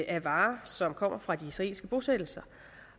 af varer som kommer fra de israelske bosættelser